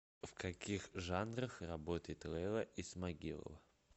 в каких жанрах работает лейла исмагилова